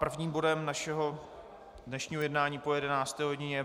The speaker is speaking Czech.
Prvním bodem našeho dnešního jednání po 11. hodině je